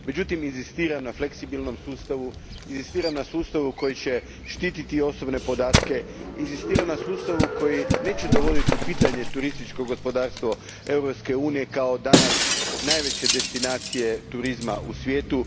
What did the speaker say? Međutim, inzistiram na fleksibilnom sustavu, inzistiram na sustavu koji će štititi osobne podatke, inzistiram na sustavu koji neće dovoditi u pitanje turističko gospodarstvo Europske unije kao danas najveće destinacije turizma u svijetu.